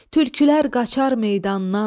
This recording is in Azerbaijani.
Tülkülər qaçar meydandan.